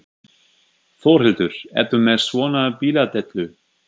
Þórhildur: Ertu með svona bíladellu?